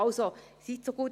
Also, seien Sie so gut: